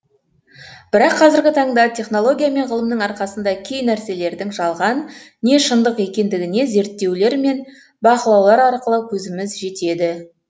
бірақ қазіргі таңда технология мен ғылымның арқасында кей нәрселердің жалған не шындық екендігіне зерттерулер мен бақылаулар арқылы көзіміз жетеді